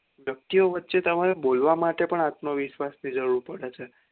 વ્યક્તિઓ વચ્ચે વચ્ચે તમારે બોલવા માટે પણ આત્મવિશ્વાસ ની જરૂર પડે છે